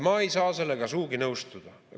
Ma ei saa sellega sugugi nõustuda.